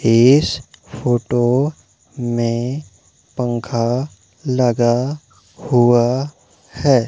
इस फोटो में पंखा लगा हुआ है।